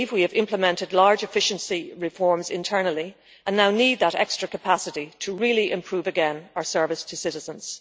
We believe we have implemented large efficiency reforms internally and now need that extra capacity to really improve again our service to citizens.